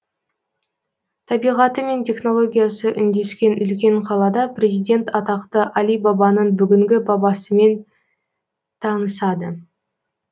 табиғаты мен технологиясы үндескен үлкен қалада президент атақты алибабаның бүгінгі бабасымен танысады